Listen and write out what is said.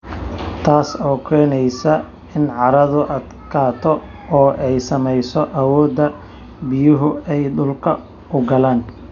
Taas oo keenaysa in carradu adkaato oo ay saameeyso awoodda biyuhu ay dhulka u galaan.